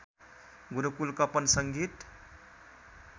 गुरुकुल कपन संगीत